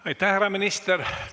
Aitäh, härra minister!